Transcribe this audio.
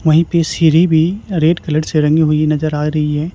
वहीं पे सीढ़ी भी रेड कलर से रंगी हुई नजर आ रही है।